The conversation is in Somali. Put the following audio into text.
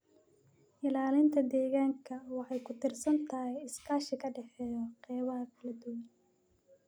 Ilaalinta deegaanka waxay ku tiirsan tahay iskaashi ka dhexeeya qeybaha kala duwan.